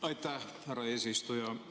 Aitäh, härra eesistuja!